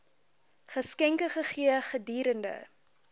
geskenke gegee gedurende